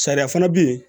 Sariya fana bɛ yen